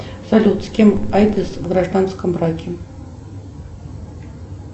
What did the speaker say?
салют с кем айкос в гражданском браке